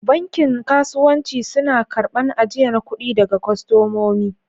Bankin kasuwanci suna karban ajiyan kudi daga kostomomi.